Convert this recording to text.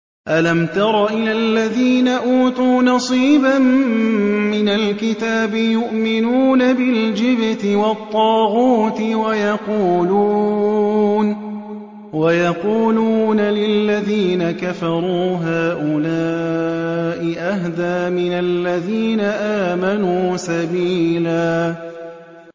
أَلَمْ تَرَ إِلَى الَّذِينَ أُوتُوا نَصِيبًا مِّنَ الْكِتَابِ يُؤْمِنُونَ بِالْجِبْتِ وَالطَّاغُوتِ وَيَقُولُونَ لِلَّذِينَ كَفَرُوا هَٰؤُلَاءِ أَهْدَىٰ مِنَ الَّذِينَ آمَنُوا سَبِيلًا